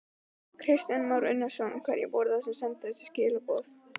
Kristján Már Unnarsson: Hverjir voru það sem sendu þessi skilaboð?